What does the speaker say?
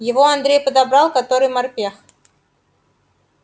его андрей подобрал который морпех